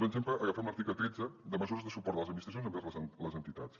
un exemple agafem l’article tretze de mesures de suport de les administracions envers les entitats